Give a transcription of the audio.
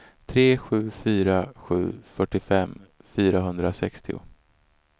tre sju fyra sju fyrtiofem fyrahundrasextio